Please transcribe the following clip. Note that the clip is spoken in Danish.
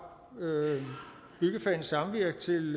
byggefagenes samvirke til